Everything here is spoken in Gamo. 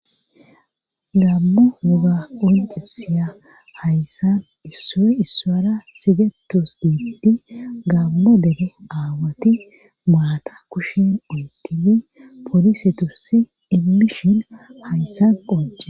gaamo woga qoncisiya hayssan issoy issuwara sigetos diiti gaammo dege aawati maata kushin onkini polise tussi immishin hayssa qonce